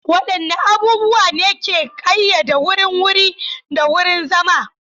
Waɗanne abubuwa ne ke ƙayyade wurin wuri da wurin zama?